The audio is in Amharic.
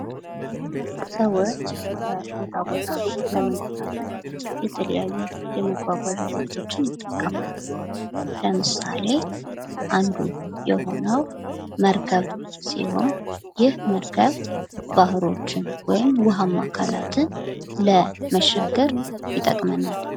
ሰዎች ከቦታ ቦታ ለመንቀሳቀስ የተለያዩ የመጓጓዣ አይነቶችን ይጠቀማሉ። ለምሳሌ:-አንዱ የሆነው መርከብ ሲሆን ይህ መርከብ ባህሮችን ወይም ውሀማ አካላትን ለመሻገር ይጠቅመናል።